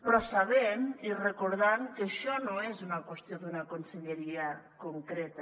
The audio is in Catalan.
però sabent i recordant que això no és una qüestió d’una conselleria concreta